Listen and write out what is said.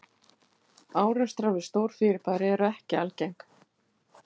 Árekstrar við stór fyrirbæri eru ekki algeng.